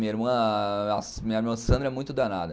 Minha irmã a minha irmã Sandra é muito danada.